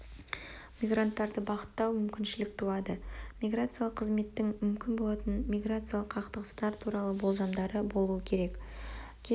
мигранттарды бағыттау мүмкіншілік туады миграциялық қызметтің мүмкін болатын миграциялық қақтығыстары туралы болжамдары болу керек кез